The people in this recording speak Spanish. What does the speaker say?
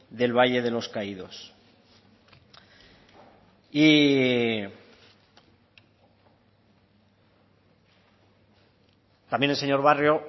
del valle de los caídos y también el señor barrio